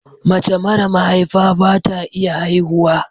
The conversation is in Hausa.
Mace mara mahaifa bata iya haihuwa